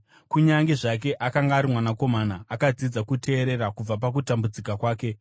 Kunyange zvake akanga ari mwanakomana, akadzidza kuteerera kubva pakutambudzika kwake